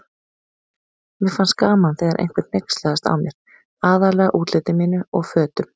Mér fannst gaman þegar einhver hneykslaðist á mér, aðallega útliti mínu og fötum.